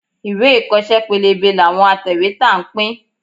Ìwé ìkọ́ṣẹ́ pélébé làwọn atẹ̀wétà ń pín.